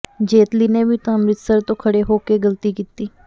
ਜੇਤਲੀ ਨੇ ਵੀ ਤਾਂ ਅੰਮ੍ਰਿਤਸਰ ਤੋਂ ਖੜ੍ਹੇ ਹੋ ਕੇ ਗਲਤੀ ਕੀਤੀ